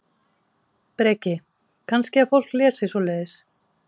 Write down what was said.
Breki: Kannski að fólk lesi svoleiðis?